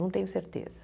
Não tenho certeza.